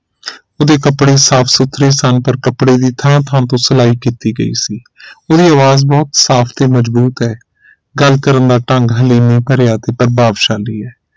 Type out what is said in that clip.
ਉਹਦੇ ਕਪੜੇ ਸਾਫ ਸੁਥਰੇ ਸਨ ਪਰ ਕੱਪੜਿਆਂ ਦੀ ਥਾਂ ਥਾਂ ਤੋਂ ਸਿਲਾਈ ਕਿੱਤੀ ਗਈ ਸੀ ਉਹਦੀ ਆਵਾਜ਼ ਬਹੁਤ ਸਾਫ ਤੇ ਮਜ਼ਬੂਤ ਹੈ ਗੱਲ ਕਰਨ ਦਾ ਢੰਗ ਹਲੇਮੀ ਭਰਿਆ ਤੇ ਪ੍ਰਭਾਵਸ਼ਾਲੀ ਹੈ